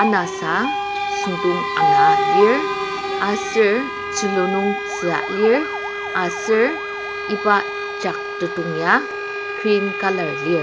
anasa süngdong ana lir aser tzülu nung tzüa lir aser iba jak tetong ya green colour lir.